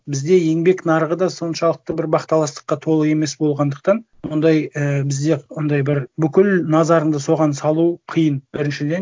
бізде еңбек нарығы да соншалықты бір бақталастыққа толы емес болғандықтан ондай і бізде ондай бір бүкіл назарыңды соған салу қиын біріншіден